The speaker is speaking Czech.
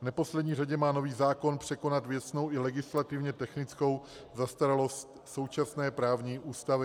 V neposlední řadě má nový zákon překonat věcnou i legislativně technickou zastaralost současné právní úpravy.